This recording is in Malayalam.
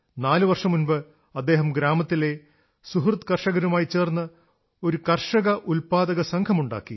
നാലു വർഷം മുമ്പ് അദ്ദേഹം ഗ്രാമത്തിലെ സുഹൃദ് കർഷകരുമായി ചേർന്ന് ഒരു കർഷക ഉത്പാദകസംഘമുണ്ടാക്കി